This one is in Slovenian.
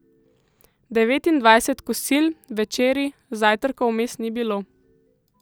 Devetindvajset kosil, večerij, zajtrkov vmes ni bilo.